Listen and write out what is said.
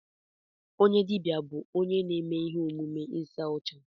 Onye dibịa bụ onye na-eme ihe omume ịsa ọcha.